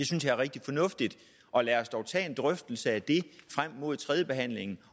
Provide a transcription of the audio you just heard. synes jeg er rigtig fornuftigt og lad os dog tage en drøftelse af det frem mod tredjebehandlingen